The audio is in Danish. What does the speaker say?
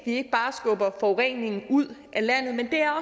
ikke bare skubber forureningen ud af landet men det er